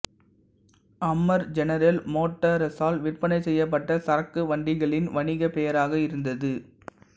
Hummer General மோட்டார்ஸால் விற்பனை செய்யப்பட்ட சரக்குவண்டிகளின் வணிகப்பெயராக இருந்தது